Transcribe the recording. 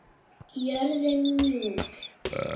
Jörðin mjúk.